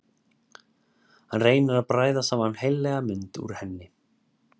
Hann reynir að bræða saman heillega mynd úr henni.